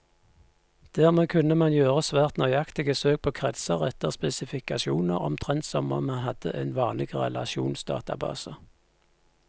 Dermed kunne man gjøre svært nøyaktige søk på kretser etter spesifikasjoner, omtrent som om man hadde en vanlig relasjonsdatabase.